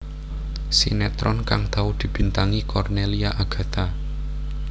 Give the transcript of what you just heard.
Sinetron kang tau dibintangi Cornelia Agatha